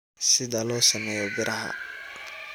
sida loo sameeyo biraha